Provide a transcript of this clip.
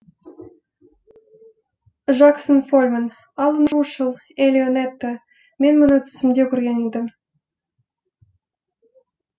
жаксон фолльманн алан рушел элио нето мен мұны түсімде көрген едім